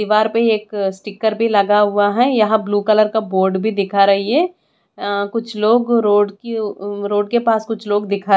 दीवार पे एक स्टीकर भी लगा हुआ है यहाँ ब्लू कलर का बोर्ड भी दिखा रही है अ कुछ लोग रोड की अ रोड के पास कुछ लोग दिखाई--